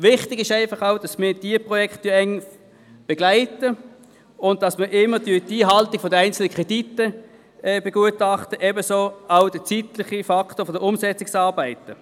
Wichtig ist, dass wir auch diese Projekte eng begleiten und dabei die Einhaltung der einzelnen Kredite begutachten, ebenso wie den zeitlichen Faktor der Umsetzungsarbeiten.